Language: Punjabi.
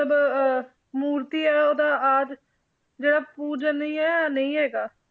~ਲਬ ਅਹ ਮੂਰਤੀ ਹੈ ਉਹਦਾ ਆਦਿ ਜਿਹੜਾ ਪੂਜਨਈਏ ਨਹੀਂ ਹੈਗਾ